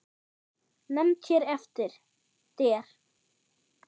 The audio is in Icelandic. Nefnd hér eftir: Der